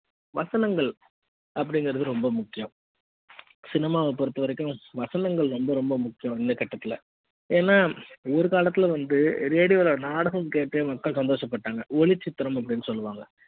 வசனங்கள் அப்படிங்கறது ரொம்ப முக்கியம் cinema வ பொருத்தவரைக்கும் வசனங்கள் ரொம்ப ரொம்ப முக்கியம் இந்த கட்டத்துல ஏன்னா ஒரு காலத்துல வந்து ரேடியோவில் நாடகம் கேட்டே மக்கள் சந்தோசப்பட்டாங்க ஒளிச்சித்திரம் அப்படின்னு சொல்லுவாங்க